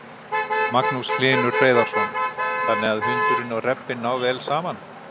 Magnús Hlynur Hreiðarsson: Þannig að hundurinn og rebbinn ná vel saman?